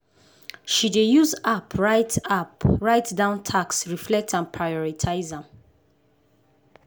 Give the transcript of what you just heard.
she dey use app write app write down tasks reflect and prioritize am.